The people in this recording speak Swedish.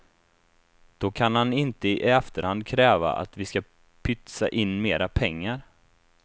Då kan han inte i efterhand kräva att vi ska pytsa in mera pengar.